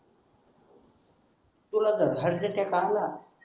तुला तर